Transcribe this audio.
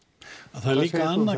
það er líka annað